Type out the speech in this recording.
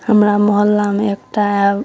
हमरा मोहल्ला में एकटा --